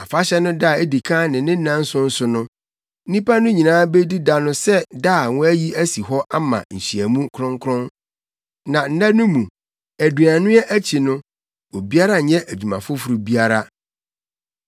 Afahyɛ no da a edi kan ne ne nnanson so no, nnipa no nyinaa bedi da no sɛ da a wɔayi asi hɔ ama nhyiamu kronkron. Na nna no mu, aduannoa akyi no, obiara nnyɛ adwuma foforo biara.